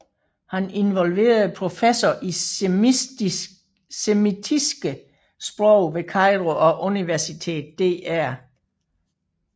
Han involverede professor i semitiske sprog ved Cairo University Dr